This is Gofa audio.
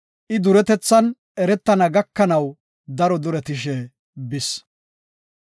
I duretethan eretana gakanaw daro duretishe bis.